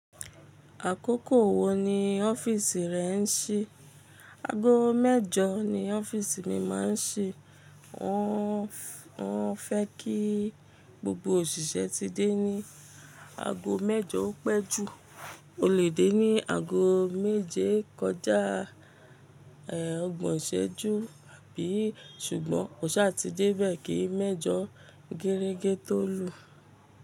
Àkókò wo ni ọ́fìsì rẹ ń ṣí? Ago mẹ́jọ ni ọ́fìsì mi máa ń ṣí. O wọ́n fẹ́ kí gbogbo òṣìṣẹ́ ti dé ní ago mẹ́jọ o pẹ́jú. O lè dé ní ago méje kọjá ọgbọ̀n ṣéjú àbí sugbọ̀n, kò sá ti dé bẹ́ẹ̀ kí mẹ́jọ gẹ́rẹ́gẹ́ tó lù.